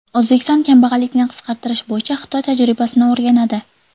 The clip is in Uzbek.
O‘zbekiston kambag‘allikni qisqartirish bo‘yicha Xitoy tajribasini o‘rganadi.